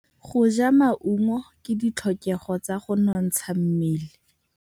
Go ja maungo ke ditlhokegô tsa go nontsha mmele.